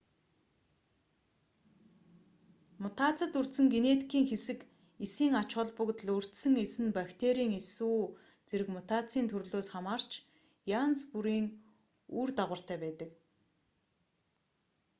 мутацид өртсөн генетикийн хэсэг эсийн ач холбогдол өртсөн эс нь бактерийн эс үү зэрэг мутацийн төрлөөс хамаарч янз бүрийн үр дагавартай байдаг